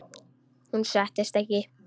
Hún settist ekki.